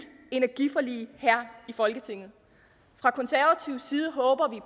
energiforlig her i folketinget fra konservativ side håber vi